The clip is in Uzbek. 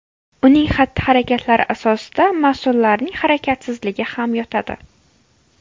Uning xatti-harakatlari asosida mas’ullarning harakatsizligi ham yotadi .